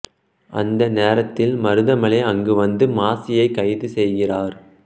அந்த நேரத்தில் மருதமலை அங்கு வந்து மாசியை கைது செய்கிறார்